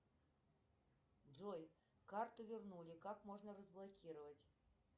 джой карту вернули как можно разблокировать